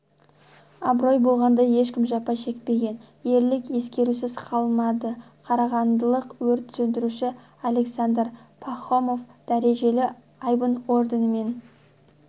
абырой болғанда ешкім жапа шекпеген ерлік ескерусіз қалмады қарағандылық өрт сөндіруші александр пахомов дәрежелі айбын орденімен